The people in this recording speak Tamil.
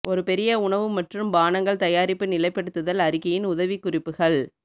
ஒரு பெரிய உணவு மற்றும் பானங்கள் தயாரிப்பு நிலைப்படுத்தல் அறிக்கையின் உதவிக்குறிப்புகள்